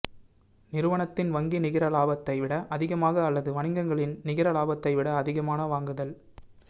நிறுவனத்தின் வங்கி நிகர லாபத்தை விட அதிகமாக அல்லது வணிகங்களின் நிகர லாபத்தை விட அதிகமான வாங்குதல்